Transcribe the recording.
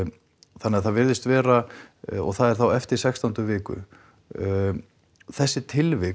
það virðist vera og það er þá eftir sextándu viku þessi tilvik